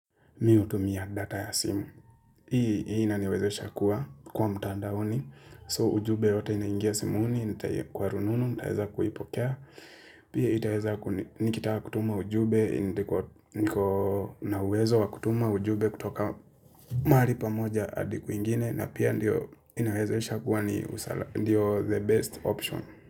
Mi hutumia data ya simu. Hii inaniwezesha kuwa kwa mtandaoni so ujumbe yoyote inaingia simuni itaingia kwa rununu nitaeza kuipokea. Pia itaeza nikitaka kutuma ujumbe niko na uwezo wa kutuma ujumbe kutoka mahali pamoja hadi kwingine na pia inawezesha kuwa ndio the best option.